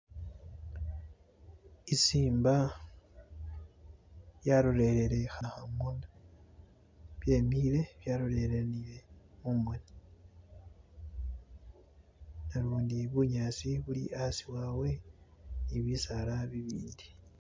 isimba yarolerere hanahamuna byemile byalolelanile mumoni nalundi bunyasi buli asi wabwe nibisaala bibindi